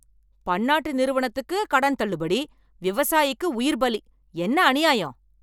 பன்னாட்டு நிறுவனத்துக்கு கடன் தள்ளுபடி, விவசாயிக்கு உயிர் பலி என்ன அநியாயம்.